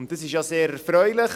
Dies ist ja sehr erfreulich.